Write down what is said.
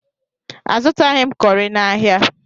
Azụtaghi m kọrị n'ahia.